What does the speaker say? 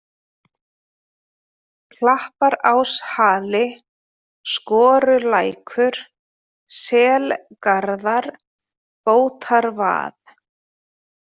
Klapparáshali, Skorulækur, Selgarðar, Bótarvað